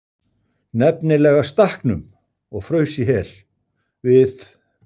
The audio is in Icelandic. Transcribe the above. NEFNILEGA STAKKNUM OG FRAUS Í HEL, VIÐ